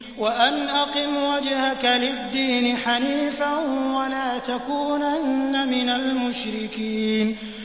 وَأَنْ أَقِمْ وَجْهَكَ لِلدِّينِ حَنِيفًا وَلَا تَكُونَنَّ مِنَ الْمُشْرِكِينَ